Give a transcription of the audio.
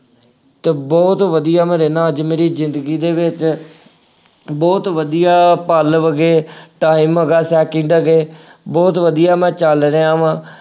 ਅਤੇ ਬਹੁਤ ਵਧੀਆਂ ਮੈਂ ਰਹਿੰਦਾ, ਅੱਜ ਮੇਰੀ ਜ਼ਿੰਦਗੀ ਦੇ ਵਿੱਚ ਬਹੁਤ ਵਧੀਆ ਪਲ ਹੈਗੇ time ਹੈਗਾ second ਹੈਗੇ, ਬਹੁਤ ਵਧੀਆਂ ਮੈਂ ਚੱਲ ਰਿਹਾ ਵਾਂ।